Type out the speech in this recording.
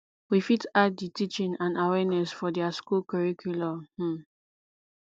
we fit add di teaching and awareness for their school curriculum um